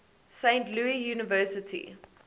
saint louis university